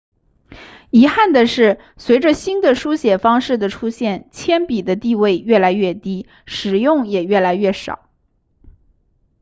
遗憾的是随着新的书写方式的出现铅笔的地位越来越低使用也越来越少